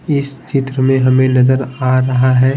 इस चित्र में हमें नजर आ रहा है।